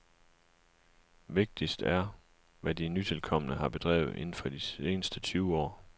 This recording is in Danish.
Vigtigst er, hvad de nytilkomne har bedrevet indenfor de seneste tyve år.